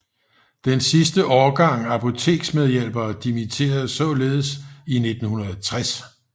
Den sidste årgang apoteksmedhjælpere dimitterede således i 1960